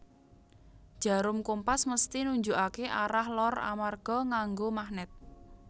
Jarum kompas mesthi nunjukake arah lor amarga nganggo magnet